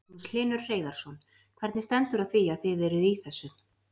Magnús Hlynur Hreiðarsson: Hvernig stendur á því að þið eruð í þessu?